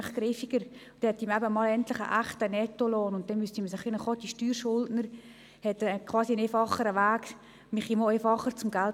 Dabei hätte man einen echten Nettolohn und die Steuerschuldner hätten einen einfacheren Weg.